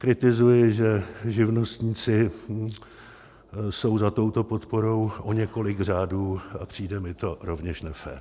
Kritizuji, že živnostníci jsou za touto podporou o několik řádů, a přijde mi to rovněž nefér.